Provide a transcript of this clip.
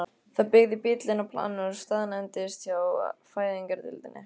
Það beygði bíll inn á planið og staðnæmdist hjá fæðingardeildinni.